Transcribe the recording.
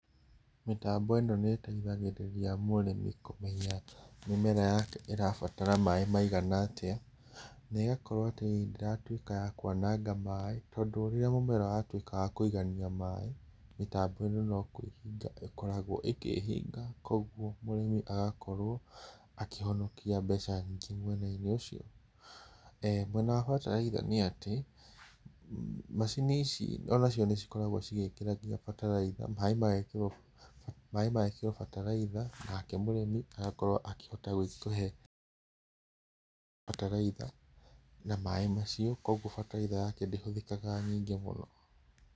Mĩtambo ĩno nĩiteithagĩrĩria mũrĩmi kũmenya mĩmera yake ĩrabatara maaĩ maigana atĩa na ĩgakorwo atĩ ndĩratuĩka ya kwananga maaĩ tondũ rĩrĩa mũmera watuĩka wa kũigania maaĩ, mĩtambo ĩno no kwĩhinga ĩkoragwo ĩkĩhinga koguo mũrĩmi agakorwo a kĩhonokia mbeca nyingĩ mwena-inĩ ũcio. Mwena wa bataraitha nĩ atĩ macini ici onacio nĩikoragwo nginya igĩkĩra bataraitha, maaĩ magekĩrwo maaĩ magekĩrwo bataraitha nake mũrĩmi agakorwo akĩhota gũgĩkĩhe bataraitha na maaaĩ macio koguo bataraitha yake ndĩhũthĩkaga nyingĩ mũno.